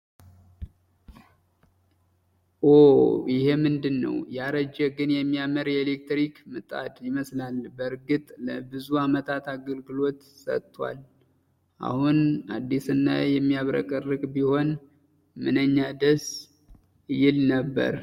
ኦው! ይሄ ምንድነው? ያረጀ ግን የሚያምር የኤሌክትሪክ ምጣድ ይመስላል! በእርግጥ ለብዙ አመታት አገልግሎት ሰጥቷል! አሁን አዲስና የሚያብረቀርቅ ቢሆን ምንኛ ደስ ይል ነበር!